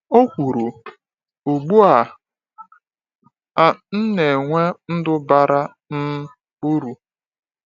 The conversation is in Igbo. O kwuru: “Ugbu a, a, m na-enwe ndụ bara um uru.